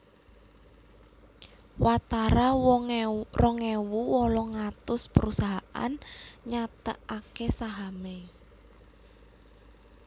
Watara rong ewu wolung atus prusahaan nyathetaké sahamé